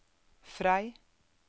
Frei